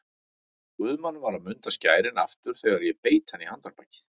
Guðmann var að munda skærin aftur þegar ég beit hann í handarbakið.